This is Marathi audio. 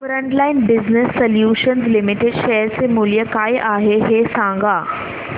frontline business solutions limited share चे मूल्य काय आहे हे सांगा